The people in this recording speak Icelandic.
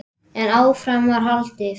En áfram var haldið.